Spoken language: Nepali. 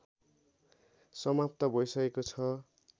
समाप्त भइसकेको छ